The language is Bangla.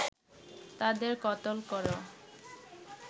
তাদের কতল করো